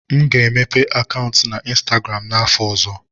M ga-emepe akaụntụ na ịnstagram n'afọ ọzọ